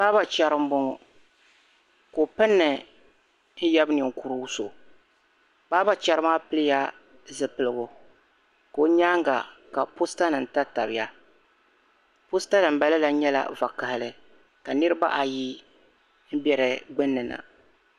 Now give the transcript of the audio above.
Barber chera m-boŋo ko' pinni n-yab' ninkurigu so. Barber chera maa piliya zupilgu ko' nyaaŋga ka postanim tatabiya. Posta din ba lala nyɛla vakahili ka niriba ayi m-be di gbinni na.